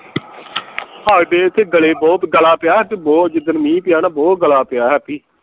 ਹਾਏ ਬੇ ਇਥੇ ਗਲੇ ਬਹੁਤ ਗਲਾ ਪਿਆ ਬਹੁਤ ਜਿਦਣ ਮਿਹ ਪਿਆ ਨਾ ਬਹੁਤ ਗਲਾ ਪਿਆ happy